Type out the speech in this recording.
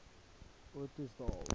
ottosdal